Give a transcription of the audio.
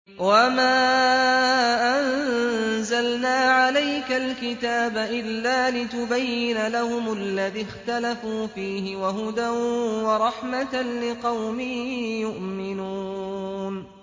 وَمَا أَنزَلْنَا عَلَيْكَ الْكِتَابَ إِلَّا لِتُبَيِّنَ لَهُمُ الَّذِي اخْتَلَفُوا فِيهِ ۙ وَهُدًى وَرَحْمَةً لِّقَوْمٍ يُؤْمِنُونَ